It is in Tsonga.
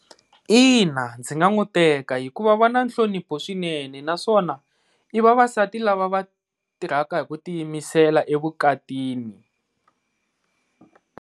Ina ndzi nga n'wi teka hikuva va na nhlonipho swinene naswona i vavasati lava va tirhaka hi ku tiyimisela evukatini.